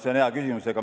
See on hea küsimus.